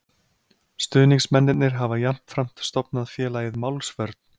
Stuðningsmennirnir hafa jafnframt stofnað félagið Málsvörn